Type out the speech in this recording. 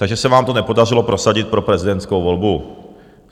Takže se vám to nepodařilo prosadit pro prezidentskou volbu.